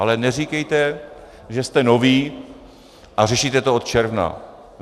Ale neříkejte, že jste noví a řešíte to od června.